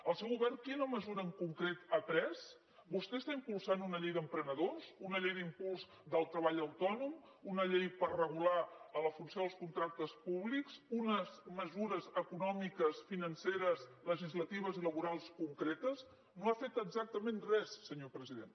el seu govern quina mesura en concret ha pres vostè està impulsant una llei d’emprenedors una llei d’impuls del treball autònom una llei per regular la funció dels contractes públics unes mesures econòmiques financeres legislatives i laborals concretes no ha fet exactament res senyor president